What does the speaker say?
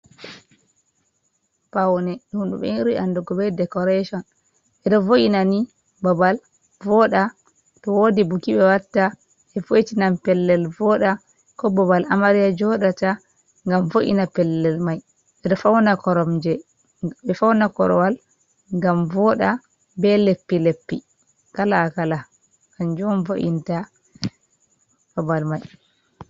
Paune ɗum ɓe ɓuri andugo be dekoreshon. Ɓe ɗo vo’ina ni babal, vooɗa. To woodi buki ɓe watta, ɓe vo'itinan pellel vooɗa, ko bobal amarya jooɗata. Ngam vo’ina pellel mai. Ɓe ɗo fauna koromje, fauna korwal ngam vooɗa be leppi-leppi, kala-kala. Kanju on vo’inta babal mai